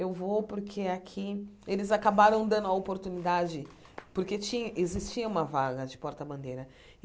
Eu vou porque aqui eles acabaram dando a oportunidade, porque ti existia uma vaga de porta-bandeira.